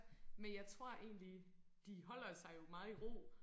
Men jeg tror egentlig de holder sig jo meget i ro